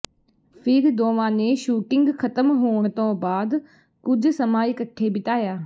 ਫਿਰ ਦੋਵਾਂ ਨੇ ਸ਼ੂਟਿੰਗ ਖ਼ਤਮ ਹੋਣ ਤੋਂ ਬਾਅਦ ਕੁਝ ਸਮਾਂ ਇਕੱਠੇ ਬਿਤਾਇਆ